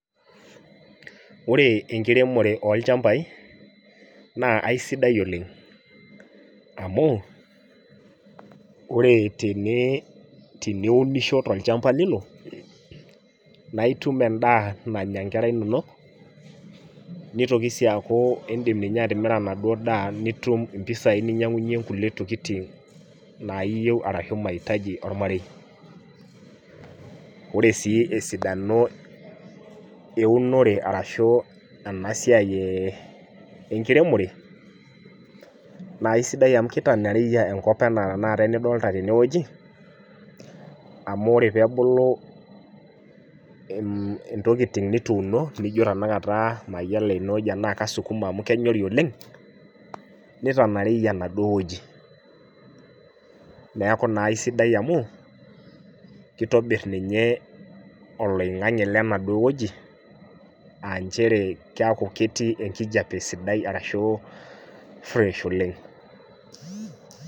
Ore enkiremore olchambai na aisidai oleng amu ore tene teniunisho tolchamba lino na itum endaa nanya nkera inonok nitoki ai aku indim si atimira enaduo daa nitum mpisai ninyangunyie nkulie tokitin nayiau ashu maitaji ormarei ore si esidano eunore ashu enasiai enkiremore na aisidai amu kitanyorij enkop ana tanakata enidolta tenewueji amu ore pebulu ntokitin nituuno nijo tanaakata mayiolo ana kasukuma amu kenyori oleng nitonyoriju enaduo toki neaku na aisidai amu kitobiri oloingangi kenaduo ojo aa nchere keaku ketii enkijape sidai arashu fresh oleng